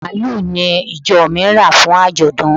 Màlúù ni ìjọ mi rà fún àjọ̀dún.